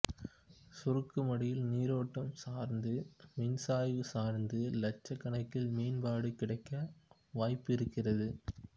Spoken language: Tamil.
சுருக்குமடியில் நீரோட்டம் சார்ந்து மீன்சாய்வு சார்ந்து லட்சக் கணக்கில் மீன்பாடு கிடைக்க வாய்ப்பு இருக்கிறது